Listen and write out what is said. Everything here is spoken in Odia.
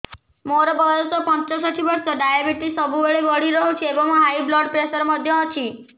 ମୋର ବୟସ ପଞ୍ଚଷଠି ବର୍ଷ ଡାଏବେଟିସ ସବୁବେଳେ ବଢି ରହୁଛି ଏବଂ ହାଇ ବ୍ଲଡ଼ ପ୍ରେସର ମଧ୍ୟ ଅଛି